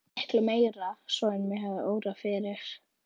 Og miklu meira svo en mig hafði órað fyrir.